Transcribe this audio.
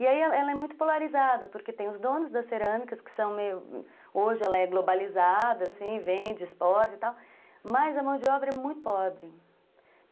E aí ela ela é muito polarizada, porque tem os donos das cerâmicas, que são, hoje ela é globalizada, assim, vende, exporta e tal, mas a mão de obra é muito pobre.